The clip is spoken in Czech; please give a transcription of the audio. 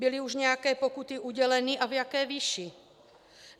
Byly už nějaké pokuty uděleny a v jaké výši?